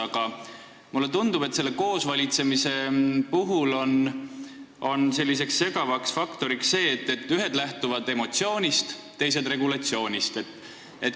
Aga mulle tundub, et selle koosvalitsemise puhul on segav faktor see, et ühed lähtuvad emotsioonist, teised regulatsioonist.